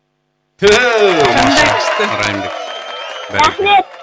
түү қандай күшті райымбек рахмет